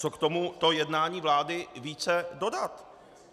Co k tomuto jednání vlády více dodat?